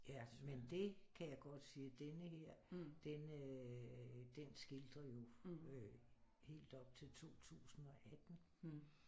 Ja men det kan jeg godt sige at denne her den øh den skildrer jo øh helt op til 2018